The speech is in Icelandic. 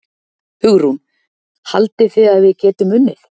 Hugrún: Haldið þið að við getum unnið?